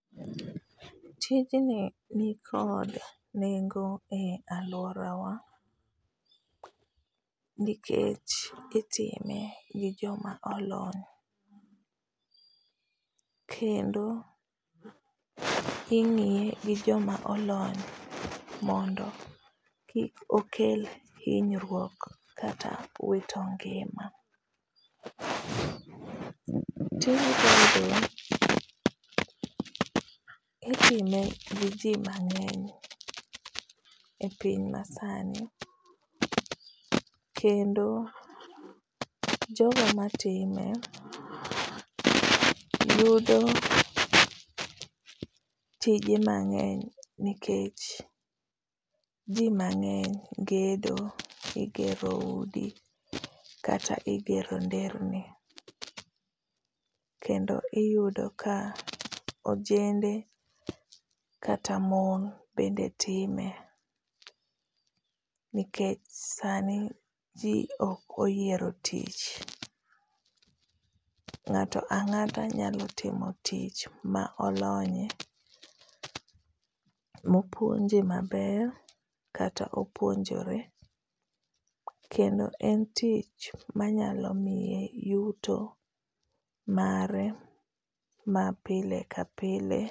Tijni nikod nengo e alworawa nikech itime gi joma olony kendo ingíye gi joma olony, mondo kik okel hinyruok kata wito ngima. Tijni bende itime gi ji mangény e piny masani kendo jogo matime yudo tije mangény nikech ji mangény gedo. Igero udi kata igero nderni. Kendo iyudo ka ojende kata mon bende time nikech sani ji ok oyiero tich. Ng'ato angáto nyalo timo tich ma olonye, ma opuonje maber, kata opuonjore. Kendo en tich manyalo miye yuto mare ma pile ka pile.